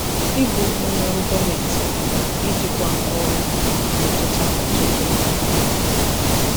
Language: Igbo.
Ịbụ onye ọrụ gọọmentị pụtara ijikwa ọrụ na-emetụta ọtụtụ ndụ ozugbo.